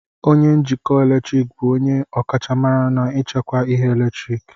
onye njikọ eletrik bụ onye ọkachamara n'ichekwa ihe eletriki